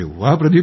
अरे वाह